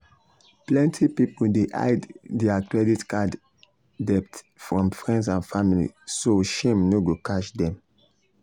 plenty people dey hide dir credit card debt from friends and family so shame no go catch dm